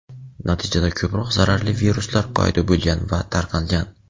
natijada ko‘proq zararli viruslar paydo bo‘lgan va tarqalgan.